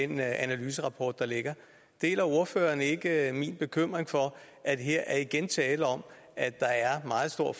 den analyserapport der ligger deler ordføreren ikke min bekymring for at her er der igen tale om at der er meget stor